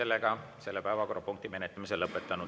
Oleme selle päevakorrapunkti menetlemise lõpetanud.